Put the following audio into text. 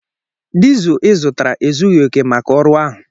Dizụ ị zụtara ezughi oke maka ọrụ ahụ